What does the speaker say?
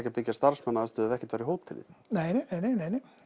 að byggja starfsmannaaðstöðu ef ekkert væri hótelið nei nei nei nei